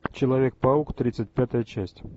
человек паук тридцать пятая часть